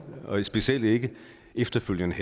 specielt ikke efterfølgende